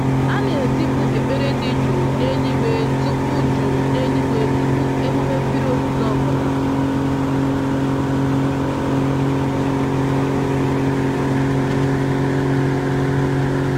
A na-ezipụ ekpere dị jụụ n'eluigwe tupu jụụ n'eluigwe tupu emume mmiri ozuzo ọ bụla.